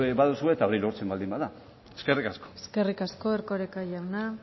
baduzue eta bai lortzen baldin bada eskerrik asko eskerrik asko erkoreka jauna